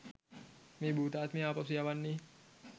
මේ භූතාත්මය ආපසු යවන්නේ?